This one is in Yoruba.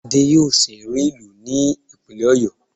Adé yóò sìnrú ìlú ní ìpínlẹ̀ Ọ̀yó